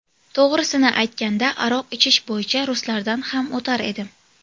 To‘g‘risini aytganda, aroq ichish bo‘yicha ruslardan ham o‘tar edim.